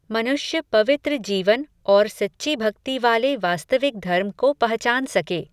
मनुष्य पवित्र जीवन और सच्ची भक्ति वाले वास्तविक धर्म को पहचान सके.